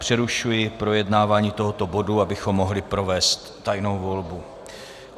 Přerušuji projednávání tohoto bodu, abychom mohli provést tajnou volbu.